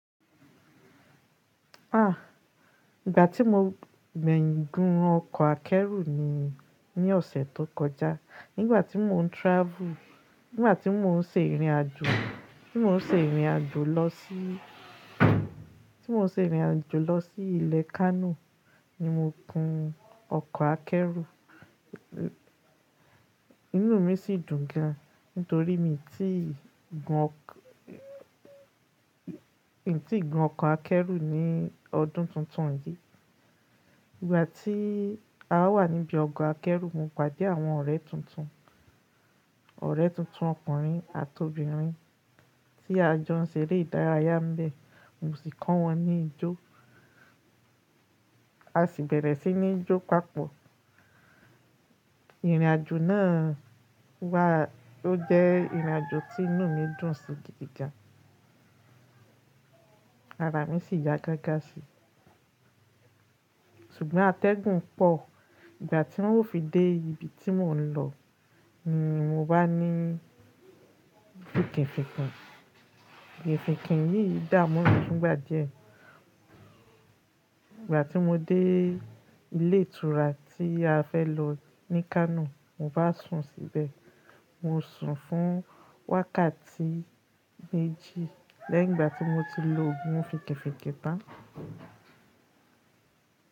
Ah! Ìgbà tí mo gbẹ́yin Ògùn ọkọ̀ akẹ́rù ni ní ọ̀sẹ̀ tó kọjá, nígbà tí mò ń travel, nígbà tí mò ń ṣe ìrìnàjò, tí mò ń ṣe ìrìnàjò lọ sí, tí mò ń ṣe ìrìnàjò lọ sí ilẹ̀ Kano ni mo kun ọkọ̀ akẹ́rù. Inú mi sì dùn gan nítorí mi tíì gun ọk-- mi tíì gun ọkọ̀ akẹ́rù ní ọdún tuntun yìí. Ìgbà tí a wà níbi ọ̀gọ̀ akẹ́rù, mo pàdé àwọn ọ̀rẹ́ tuntun, ọ̀rẹ́ tuntun ọkùnrin àti obìnrin tí a jọ ń ṣe eré ìdárayá mbẹ̀, mo sì kọ́ wọn ní ijó, a sì bẹ̀rẹ̀ sí ní jó papọ̀. Ìrìnàjò náà wà-- ó jẹ́ ìrìnàjò tí inú mi dùn sí gidi gan. Ara mi sì yá gágá sí. Ṣùgbọ́n atẹ́gùn pọ̀. Ìgbà tí wọ́n ó fi dé ibi tí mò ń lọ ni mo bá ní finkinfinkin Finkìnfinkin yìí dà mu mi fúngbà díẹ̀. Ìgbà tí mo dé ilé ìtura tí a fẹ́ lọ ní Kano, mo bá sùn síbẹ̀. Mo sùn fún wákàtí méjì lẹ́yin igbà tí mo ti lo ogún finkinfìnkin tán.